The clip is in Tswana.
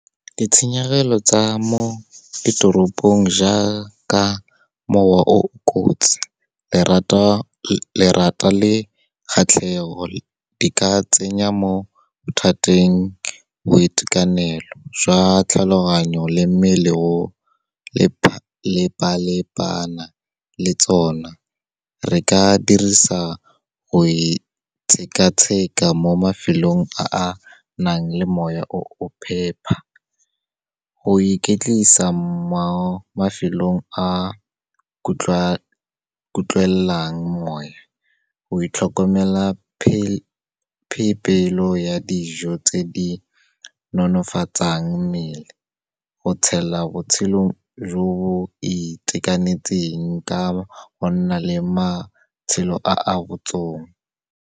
Ditshenyegelo tsa mo ditoropong, jaka mowa o kotsi, lerata le kgatlhego, di ka tsenya mo mathateng boitekanelo jwa tlhaloganyo le mmele o lepalepana le tsona. Re ka dirisa go itshekatsheka mo mafelong a a nang le moya o phepa, go iketlisa mo mafelong a kutlwelelang moya, go itlhokomela phebelo ya dijo tse di nonofatsang mmele, go tshela botshelo jo bo itekanetseng ka go nna le matshelo a a botsong.